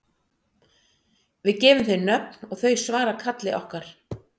Við gefum þeim nöfn og þau svara kalli okkar.